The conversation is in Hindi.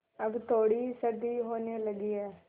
अब थोड़ी सर्दी होने लगी है